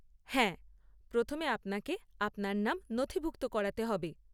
হ্যাঁ প্রথমে আপনাকে আপনার নাম নথিভুক্ত করাতে হবে।